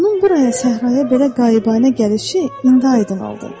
Onun buraya səhraya belə qabətinə gəlişi indi aydın oldu.